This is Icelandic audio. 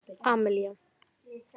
Amelía